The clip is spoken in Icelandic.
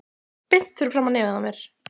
Beint fyrir framan nefið á mér!